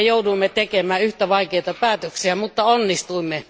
Me jouduimme tekemään yhtä vaikeita päätöksiä, mutta onnistuimme.